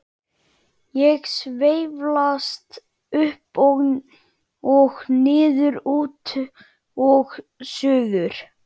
Ég sveiflast upp og niður, út og suður.